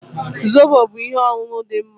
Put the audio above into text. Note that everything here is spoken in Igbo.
Zobo bụ ihe ọṅụṅụ dị mma